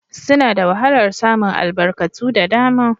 Suna da wahalar samun albarkatu da dama